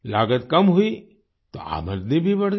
लागत कम हुई तो आमदनी भी बढ़ गई